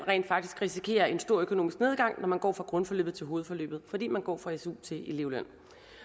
risikerer en stor økonomisk nedgang når man går fra grundforløbet til hovedforløbet fordi man går fra su til elevløn